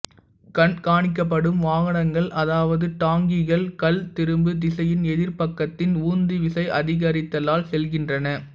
கண்காணிக்கப்படும் வாகனங்கள் அதாவது டாங்கிகள் கள் திரும்பு திசையின் எதிர் பக்கத்தின் உந்து விசை அதிகரித்தலால் செல்கின்றன